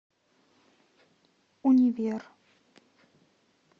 универ